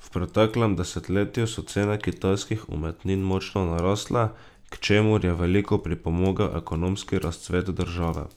V preteklem desetletju so cene kitajskih umetnin močno narasle, k čemur je veliko pripomogel ekonomski razcvet države.